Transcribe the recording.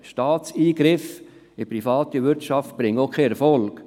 Staatliche Eingriffe in die private Wirtschaft bringen auch keinen Erfolg.